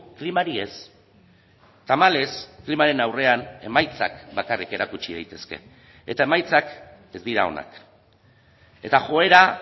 klimari ez tamalez klimaren aurrean emaitzak bakarrik erakutsi daitezke eta emaitzak ez dira onak eta joera